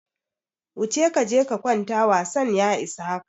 Wuce kaje ka kwanta wasan ya isa haka!